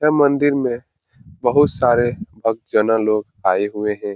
यह मंदिर में बहुत सारे भक्तजनो लोग आए हुए हैं।